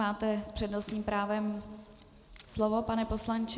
Máte s přednostním právem slovo, pane poslanče.